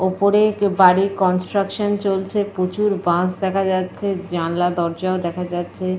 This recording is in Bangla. ওপরে বাড়ির কনস্ট্রাকশন চলছে। প্রচুর বাঁশ দেখা যাচ্ছে। জানলা দরজাও দেখা যাচ্ছে।